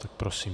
Tak prosím.